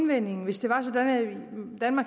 menneske